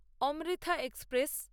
Amrita express